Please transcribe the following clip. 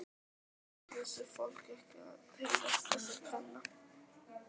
Vissi fólk ekki af tilvist þessara kvenna?